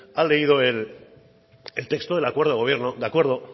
ha leído el texto del acuerdo del gobierno de acuerdo